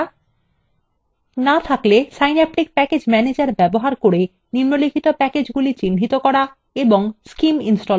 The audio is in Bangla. না থাকলে synaptic প্যাকেজ ম্যানেজার ব্যবহার করে নিম্নলিখিত প্যাকেজগুলি চিহ্নিত করুন এবং scim install করুন